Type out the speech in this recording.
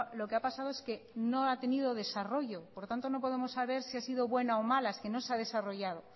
lo que ha pasado es que no ha tenido desarrollo por tanto no podemos saber si ha sido buena o mala es que no se ha desarrollado